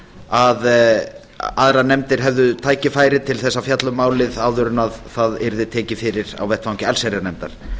að aðrar nefndir hefðu tækifæri til að fjalla um málið áður en það yrði tekið fyrir á vettvangi allsherjarnefndar